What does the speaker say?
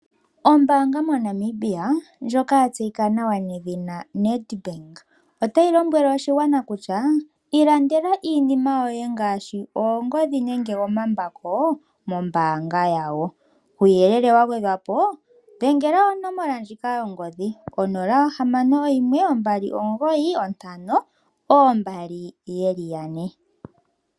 Ombaanga moNamibia ndjoka ya tseyika nedhina NedBank otayi lombwele oshigwana kutya; ilandela iinima yoye ngaashi oongodhi nenge omambako mombaanga yawo. Kuuyelele wa gwedhwa po dhengela onomola ndjika yongodhi 0612952222